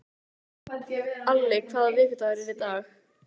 Alli, hvaða vikudagur er í dag?